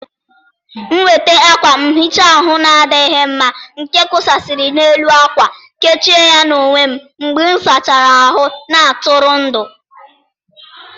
M weter akwa nhicha ahụ na-adịghị mma nke kwụkwasịrị n'elu akwa, kechie ya n'onwe m mgbe ịsachara ahụ na-atụrụ ndụ